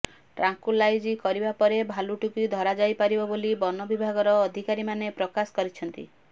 tranquillise କରିବା ପରେ ଭାଲୁଟିକୁ ଧରାଯାଇପାରିବ ବୋଲି ବନ ବିଭାଗର ଅଧିକାରୀ ମାନେ ପ୍ରକାଶ କରିଛନ୍ତି